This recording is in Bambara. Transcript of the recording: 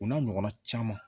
O n'a ɲɔgɔnna caman